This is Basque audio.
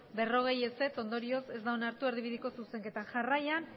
berrogei ondorioz ez da onartu erdibideko zuzenketa jarraian